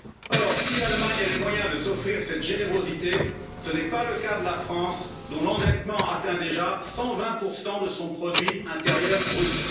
Or, si l'Allemagne a les moyens de s'offrir cette générosité, ce n'est pas le cas de la France, dont l'endettement atteint déjà 120 de son produit intérieur brut.